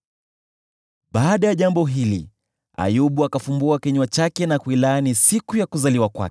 Baada ya jambo hili, Ayubu akafumbua kinywa chake na kuilaani siku ya kuzaliwa kwake.